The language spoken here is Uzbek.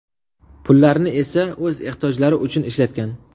Pullarni esa o‘z ehtiyojlari uchun ishlatgan.